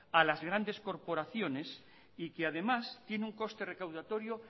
a las grandes corporaciones y que además tiene un coste recaudatorio